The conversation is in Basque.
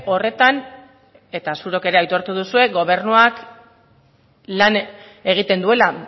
horretan eta zuok ere aitortu duzue gobernuak lan egiten duela